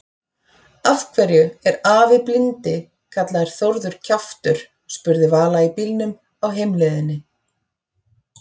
Af hverju er afi blindi kallaður Þórður kjaftur? spurði Vala í bílnum á heimleiðinni.